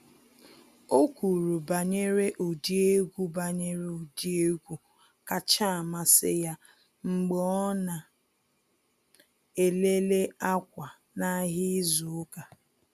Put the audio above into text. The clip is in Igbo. O kwuru banyere ụdị egwu banyere ụdị egwu kacha amasị ya mgbe ọ na ele le akwa n’ahịa izu ụka.